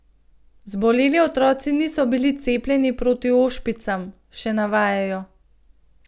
Zboleli otroci niso bili cepljeni proti ošpicam, še navajajo.